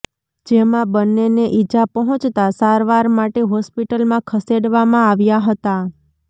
જેમાં બન્નેને ઈજા પહોંચતા સારવાર માટે હોસ્પિટલમાં ખસેડવામાં આવ્યા હતાં